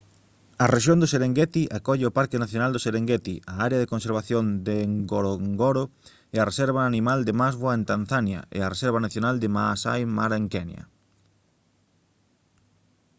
a rexión do serengeti acolle o parque nacional do serengeti a área de conservación de ngorongoro e a reserva animal de maswa en tanzania e a reserva nacional de maasai mara en kenya